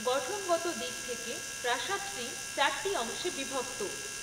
গঠনগত দিক থেকে প্রাসাদটি চারটি অংশে বিভক্ত